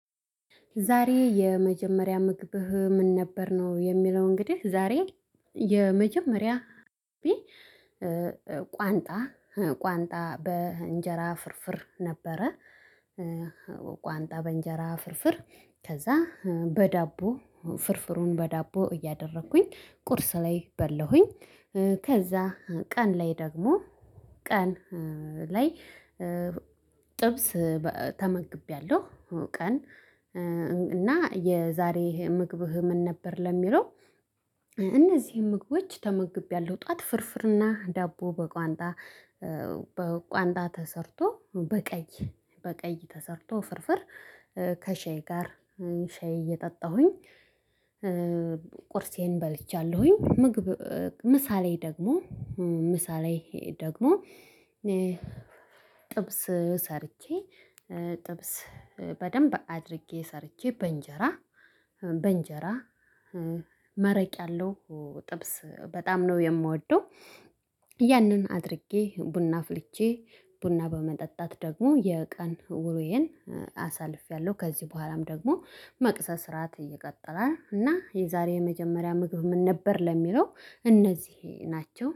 ዛሬ የመጀመሪያ ምግብህ ምን ነበር? ነው የሚለው እንግዲህ ዛሬ የመጀመሪያ ቋንጣ፣ ቋንጣ በእንጀራ ፍርፍር ነበረ። ቋንጣ በእንጀራ ፍርፍር፣ ከዛ በዳቦ ፍርፍሩን በዳቦ እያደረኩኝ ቁርስ ላይ በለሁኝ። ከዛ ቀን ላይ ደግሞ፣ ቀን ላይ ጥብስ ተመግቤያለሁ ቀን። እና የዛሬ ምግብህ ምን ነበር ለሚለው እነዚህ ምግቦች ተመግቤያለሁ። ጠዋት ፍርፍርና ዳቦ በቋንጣ፣ በቋንጣ ተሰርቶ በቀይ፣ በቀይ ተሰርቶ ፍርፍር ከሻይ ጋር፣ ሻይ እየጠጣሁኝ ቁርሴን በልቻለሁኝ። ምግብ ምሳ ላይ ደግሞ፣ ምሳ ላይ ደግሞ ጥብስ ሰርቼ፣ ጥብስ በደንብ አድርጌ ሰርቼ በእንጀራ፣ በእንጀራ መረቅ ያለው ጥብስ በጣም ነው የምወደው። ያንን አድርጌ ቡና አፍልቼ ቡና በመጠጣት ደግሞ የቀን ውሎዬን አሳልፌያለሁ። ከዚህ በኋላም ደግሞ መክሰስ፣ ራት ይቀጥላል እና የዛሬ የመጀመሪያ ምግብ ምን ነበር ለሚለው እነዚህ ናቸው።